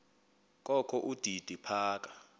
kokho udidi phaka